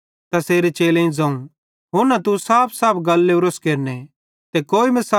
तैसेरे चेलेईं ज़ोवं हुन्ना तू साफसाफ गल लोरस केरने ते कोई मिसाल देइतां न ज़ोस